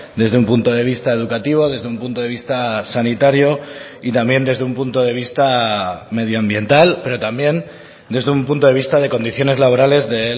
desde un punto de vista educativo desde un punto de vista sanitario y también desde un punto de vista medioambiental pero también desde un punto de vista de condiciones laborales de